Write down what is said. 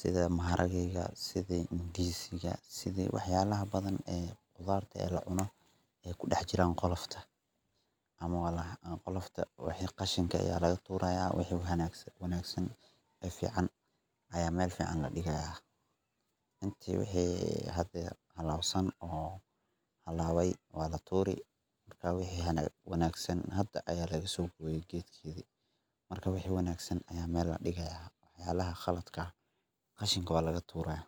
sidaa maharagedaa sida ndizi ga sida wax yalaha badaa badan ee qudaarta laa cuno ee kudahjiran qaloftaa ama qalofta wixi khashinka aya laga turaa yaa wixi wanagsan ee fican aya mel fican ladigaa intee wixi hada xalabsan oo xalaway waa la turiii marka wixi wanagsan hada aya laga sogoyey getkedi marka wixi wanagsan aya mel ladigaya waxyabaha kalatka kashinka wala ga turayaa.